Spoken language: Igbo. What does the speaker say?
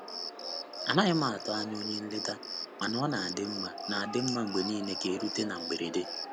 Anaghị m atụ anya onye nleta mana ọ na-adị mma na-adị mma mgbe niile ka erute na mberede.